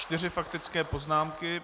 Čtyři faktické poznámky.